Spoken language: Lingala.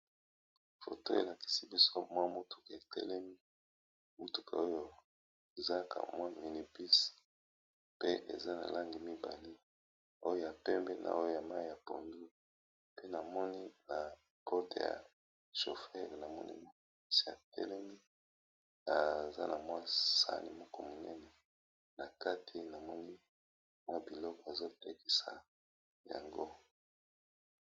Photo oyo el akisi biso mwa motuka e telemi, mutuka oyo eza ka mwa mini bus, pe eza na langi mibale , oyo ya pembe na oyo ya mayi ya pondu, pe na moni na côté ya chauffeur na moni ma eza na mwa sani moko monene na kati na moni mwa biloko azo lekisa yango